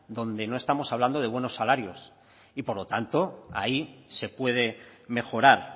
donde no estamos hablando de buenos salarios y por lo tanto ahí se puede mejorar